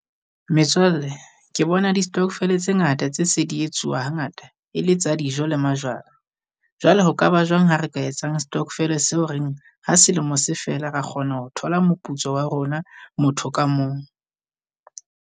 Metswalle ke bona di-stokvel tse ngata tse se di etsuwa hangata e le tsa dijo le majwala. Jwale ho ka ba jwang ha re ka etsang stockvele seo reng ha selemo se fela re kgona ho thola moputso wa rona motho ka mong?